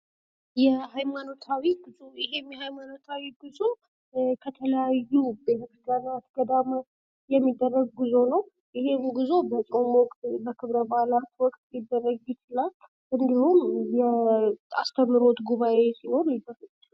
የሃይማኖታዊ ጉዞ ይህ የሀይማኖታዊ ጉዞ ከተለያዩ ቤተክርስቲያናት ገዳማት የሚደረጉ ነው ይህም ጉዞ በጾም ወቅት በክብረ በዓላት ወቅት ሊደረግ ይችላል እንዲሁም የአስተምህሮት ጉባኤ ሲሆን ይደረጋል።